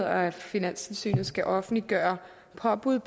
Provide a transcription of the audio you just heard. at finanstilsynet skal offentliggøre påbud